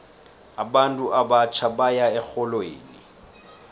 abantu abatjha baya erholweni